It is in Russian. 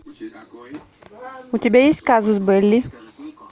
у тебя есть казус белли